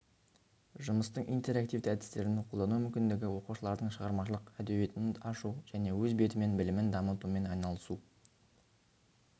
жұмыстың интерактивті әдістерін қолдану мүмкіндігі оқушылардың шығармашылық әдеуетін ашу және өз бетімен білімін дамытумен айналысу